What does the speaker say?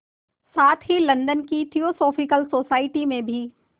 साथ ही लंदन की थियोसॉफिकल सोसाइटी से भी